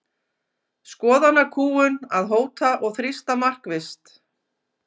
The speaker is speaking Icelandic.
Skoðanakúgun að hóta og þrýsta markvisst